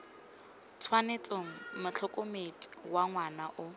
tshwanetseng motlhokomedi wa ngwana wa